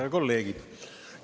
Head kolleegid!